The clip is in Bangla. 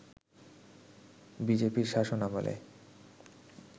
বিজেপির শাসনামলে